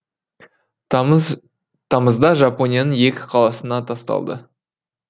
тамызда жапонияның екі қаласына тасталды